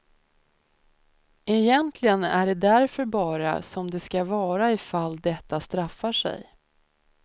Egentligen är det därför bara som det ska vara i fall detta straffar sig.